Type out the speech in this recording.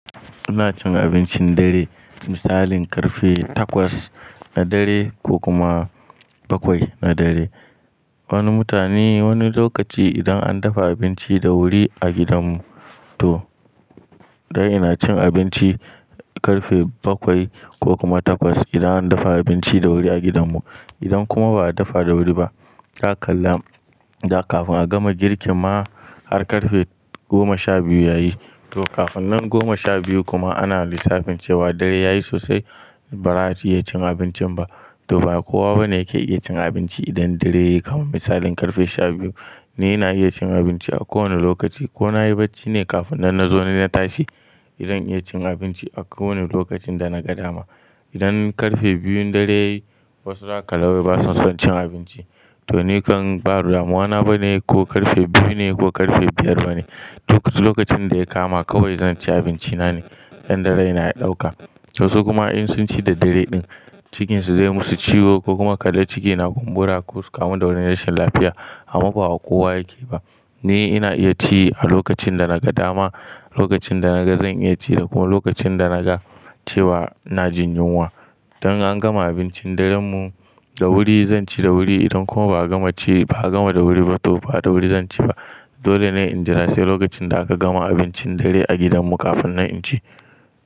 Ina cin abincin dare misalin karfe takwas na dare ko kuma bakwai na dare. Wani mutane wani lokaci idan an dafa abinci da wuri a gidan mu to dai ina cin abinci karfe bakwai ko kuma takwas idan an dafa abinci da wuri a gidan mu. Idan kuma ba a dafa da wuri ba ka kalla da kafin a gama girkin ma har karfe goma sha biyu yayi to kafin nan goma sha biyu kuma ana lissafin cewa dare yayi sosai ba za a iya cin abincin ba. To ba kowa bane yake iya cin abinci idan dare yake kama misalin karfe sha biyu. Ni ina iya cin abinci a kowane lokaci ko na yi bacci ne kafin nan na zo na yi tashi zan iya cin abinci a kowane lokacin da na ga dama. Idan karfe biyun dare yayi wasu zaka gawai basu son cin abinci to ni kan ba damuwa na bane ko karfe biyu ne ko karfe biyar bane. Lokacin da ya kama kawai zan ci abinci na ne idan dare yana ɗauka. Wasu kuma in sun ci da dare ɗin cikinsu zai musu ciwo ko kuma kada ciki na kumbura ko su kamu da wani rashin lafiya a mafa ba kowa yake ba. Ni ina iya ci a lokacin da naga dama, lokacin da naga zan iya ci da kuma lokacin da naga cewa na jin yunwa. Idan an gama abincin dare mu da wuri zan ci da wuri idan kuma ba a gama ci ba a gama da wuri ba to ba da wuri zan ci ba. Dole ne in jira sai lokacin da aka gama abincin dare a gidan mu kafin nan in ci.